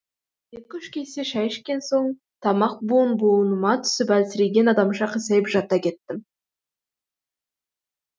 екі үш кесе шай ішкен соң тамақ буын буыныма түсіп әлсіреген адамша қисайып жата кеттім